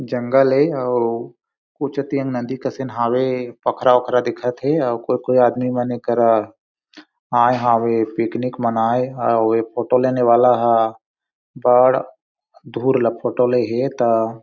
जंगल हे अउ पोखरा ओखरा दिखत थे आउ कोई कोई आदमी मन गरा आये हावे पिकनिक मनाये अ फोटो लेने वाला ह बड़ दूर ल फोटो ले ही ता --